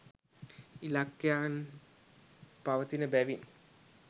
ඉලක්කයන් පවතින බැවින්